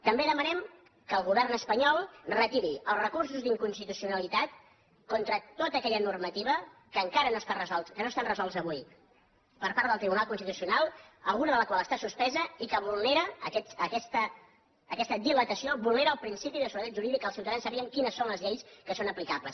també demanem que el govern espanyol retiri els recursos d’inconstitucionalitat contra tota aquella normativa que encara no han estat resolts que no estan resolts avui per part del tribunal constitucional alguna de la qual està suspesa i que vulnera aquesta dilatació el principi de seguretat jurídica que els ciutadans sàpiguen quines són les lleis que són aplicables